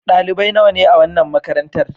Dalibai nawa ne a wannan makarantar.